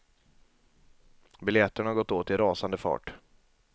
Biljetterna har gått åt i rasande fart.